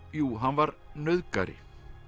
jú hann var nauðgari